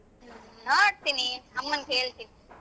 ಹ್ಮ್ ನೋಡ್ತೀನಿ ಅಮ್ಮನ್ ಕೇಳ್ತೀನಿ.